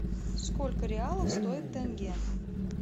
сколько реалов стоит тенге